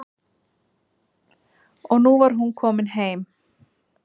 Og nú var hún komin heim.